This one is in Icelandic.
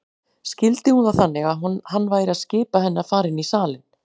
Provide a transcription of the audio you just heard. Skildi hún það þannig að hann væri að skipa henni að fara inn í salinn?